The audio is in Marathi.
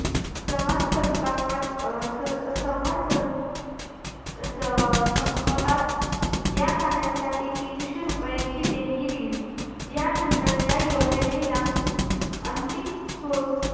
सभा संस्थापद अं स~ सभा सं~ स~ अं संपताच, या कार्यासाठी तीनशे रुपयाची देणगी दिली. यानंतर या योजनेला अंतिम स्वरूप,